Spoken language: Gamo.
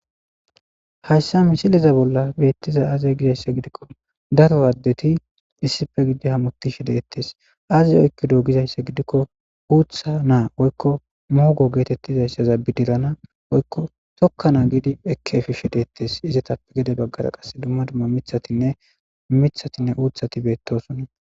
hayssa misileza bolla beettiza aazey gizayssa gidikko daro aaddeti issife gidi hamuti shedettes aze oykko do gizayssa gidikko uutha naa oykko muogo geetettizayssaza bidirana oykko tokkanaa gidi ekkeefi shedettes izatappe gede baggara qass dumma dumma mithatinne mithatinne uuthati beettosun